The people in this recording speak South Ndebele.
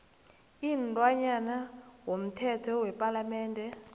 imntwana womthetho wepalamende